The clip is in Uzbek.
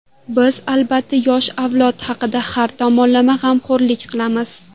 Biz, albatta, yosh avlod haqida har tomonlama g‘amxo‘rlik qilamiz.